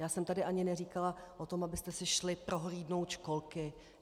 Já jsem tady ani neříkala o tom, abyste si šli prohlídnout školky.